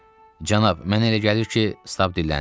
Cənab, mənə elə gəlir ki, Stab dilləndi.